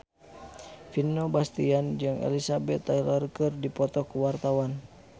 Vino Bastian jeung Elizabeth Taylor keur dipoto ku wartawan